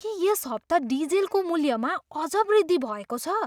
के यस हप्ता डिजेलको मूल्यमा अझ वृद्धि भएको छ?